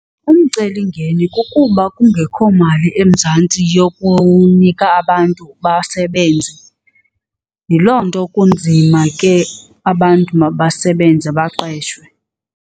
Umcelimngeni kukuba kungekho mali eMzantsi yokunika abantu basebenze. Yiloo nto kunzima ke abantu mabasebenze baqeshwe.